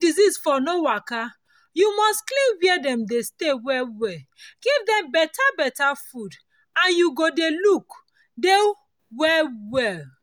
make disease for no waka you go must clean where dem dey stay well well give dem better better food and you go dey look dey well well